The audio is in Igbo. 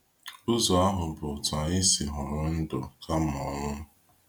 Ụzọ ahụ bụ otu anyị si họrọ ndụ kama ọnwụ.